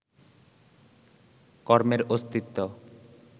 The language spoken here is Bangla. কর্মের অস্তিত্ব